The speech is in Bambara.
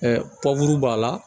b'a la